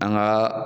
An ka